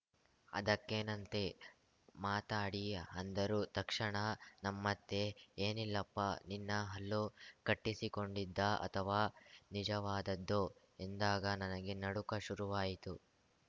ಅದಕ್ಕೇನಂತೆ ಮಾತಾಡಿ ಅಂದರು ತಕ್ಷಣ ನಮ್ಮತ್ತೆ ಏನಿಲ್ಲಪ್ಪ ನಿನ್ನ ಹಲ್ಲು ಕಟ್ಟಿಸಿಕೊಂಡಿದ್ದಾ ಅಥವಾ ನಿಜವಾದದ್ದೋ ಎಂದಾಗ ನನಗೆ ನಡುಕ ಶುರುವಾಯಿತ್ತು